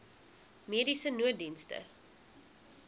mediese nooddienste